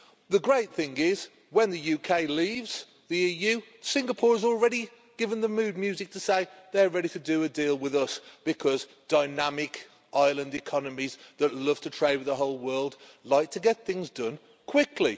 The great thing is, that when the UK leaves the EU, Singapore has already provided the mood music to say they're ready to do a deal with us, because dynamic island economies that love to trade with the whole world like to get things done quickly.